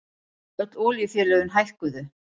Öll olíufélögin hækkuðu